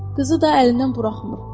Qızı da əlindən buraxmır.